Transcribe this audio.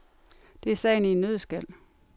Det er sagen i en nøddeskal.